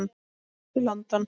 Hann lést í London.